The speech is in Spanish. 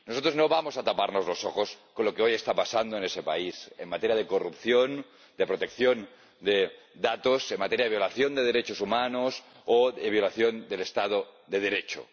Nosotros no vamos a taparnos los ojos con lo que hoy está pasando en ese país en materia de corrupción, de protección de datos, en materia de violación de derechos humanos o de violación del Estado de Derecho.